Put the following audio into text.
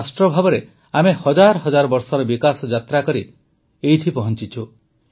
ଏକ ରାଷ୍ଟ୍ର ଭାବରେ ଆମେ ହଜାର ହଜାର ବର୍ଷର ବିକାଶ ଯାତ୍ରା କରି ଏଠିକି ପହଂଚିଛୁ